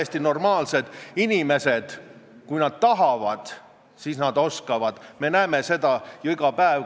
Kui teie juhitavas asutuses inimene ei valda piisavalt riigikeelt ja teile määratakse sanktsioon, ent samas antakse võimalus saata inimene keelekursustele, siis mida te teete?